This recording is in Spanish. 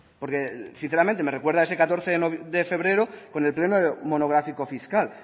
porque sinceramente me recuerda ese catorce de febrero con el pleno monográfico fiscal